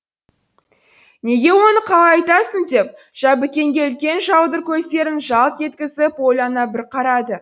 неге оны қалай айтасың деп жәбікенге үлкен жаудыр көздерін жалт еткізіп ойлана бір қарады